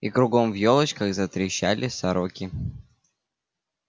и кругом в ёлочках затрещали сороки